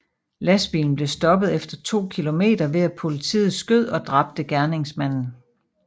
Lastbilen blev stoppet efter 2 kilometer ved at politiet skød og dræbte gerningsmanden